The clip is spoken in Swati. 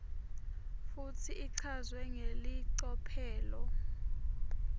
futsi ichazwe ngelicophelo